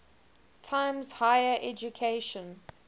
times higher education